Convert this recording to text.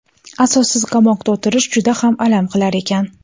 Asossiz qamoqda o‘tirish juda ham alam qilar ekan.